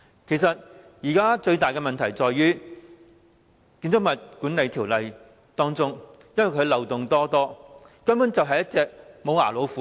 現時最大的問題其實在於《建築物管理條例》極多漏洞，根本就像一隻無牙老虎。